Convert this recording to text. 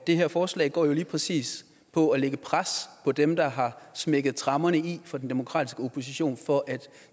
det her forslag går jo lige præcis på at lægge pres på dem der har smækket tremmerne i for den demokratiske opposition for at